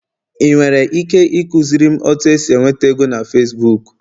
ị nwere ike ịkụziri m otu esi enweta ego na Facibuku?